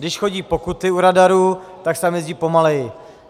Když chodí pokuty u radaru, tak se tam jezdí pomaleji.